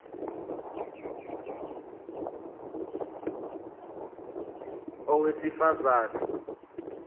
a owesifaz ane